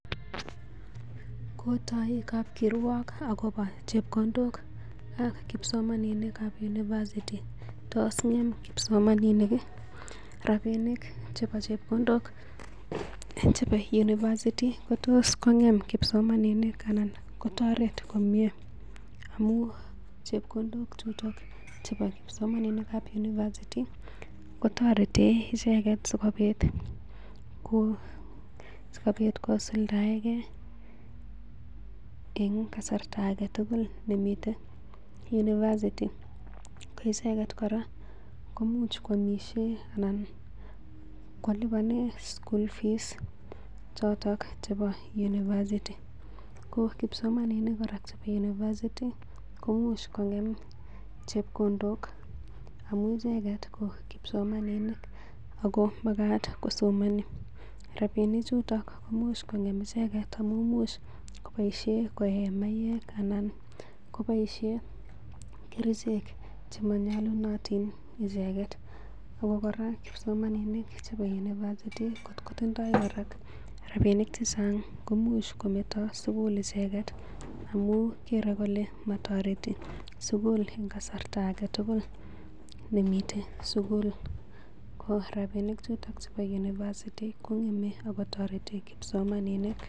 Kotoi kapkirwok agobo chepkondok akobo chepkondok ap kipsomaninik ab uiversity tos ng'em kipsoamaninik ii? Rabinik ii chebo chepkondok chebo university kotos kongem kipsomaninik anan kotoret komye amun chepkondok tutigin chebo kipsomaninik ab university kotoreten icheget asikobit kosuldaege en kasarta age tugul nemiten en university ko icheget kora koimuch koamisie anan koliponen school fees choto chebo university ko kipsomainik kora chebo university komuch kong'em chepkondok amun icheget ko kipsomaninik ago magat kosomoni, rabinichuto komuch kong'em icheget amun imuch koboisie koyeen maiywek anan koboisiie kerichek chemanyalunotin icheget. Ago kora kipsomaninik chebo university kotkotindoi kora rabinik chechang komuch kometo sugul icheget amun kere kole motoreti sugul en kasarta age tugul nemiten sugul ko rabinik chuto chebo univeristy kong'eme ago toreti kipsomaninik.